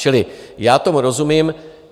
Čili já tomu rozumím.